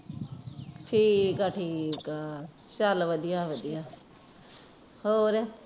ਠੀਕ ਆ ਠੀਕ ਆ ਚਾਲ ਵਧੀਆ ਵਧੀਆ ਹੋਰ